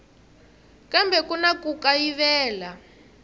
kambe ku na ku kayivela